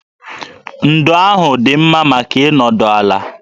Ndo ahụ dị mma maka ịnọdụ ala